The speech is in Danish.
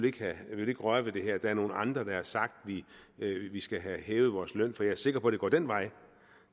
ikke vil røre ved det her der er nogle andre der har sagt at vi skal have hævet vores løn for jeg er sikker på at det går den vej